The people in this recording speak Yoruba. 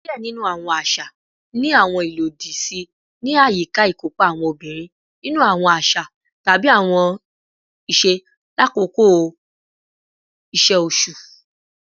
Diẹ ninu awọn aṣa ni awọn ilodi si ni ayika ikopa awọn obinrin ninu awọn aṣa tabi awọn iṣe lakoko iṣe oṣu